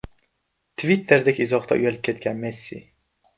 Twitter’dagi izohdan uyalib ketgan Messi .